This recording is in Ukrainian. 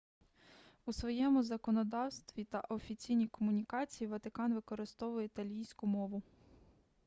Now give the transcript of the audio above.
у своєму законодавстві та офіційній комунікації ватикан використовує італійську мову